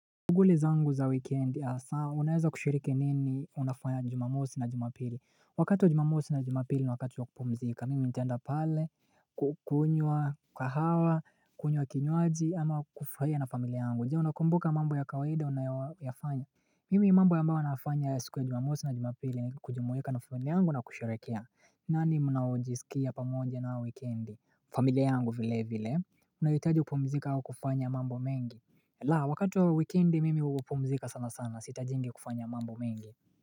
Tuguli zangu za wikendi asa unaeza kushiriki nini unafanya jumamosi na jumapili Wakati wa jumamosi na jumapili ni wakati wa kupumzika, mimi ntaenda pale kukunywa kahawa, kunywa kinywaji ama kufrahia na familia yangu Je unakumbuka mambo ya kawaida unayayoyafanya Mimi mambo yambao anayafanya siku ya jumamosi na jumapili ni kujumuika na familia yangu na kusherekea nani munaojisikia pamoja nao wikendi? Familia yangu vile vile unahitaji kupumzika au kufanya mambo mengi la wakati wa wikendi mimi hupumzika sana sana siitajingi kufanya mambo mengi.